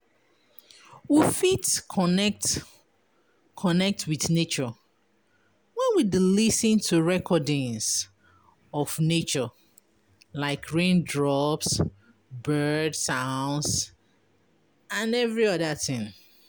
We fit connect with nature when we de lis ten to recordings of natures like raindrops, bird drops, bird sounds etc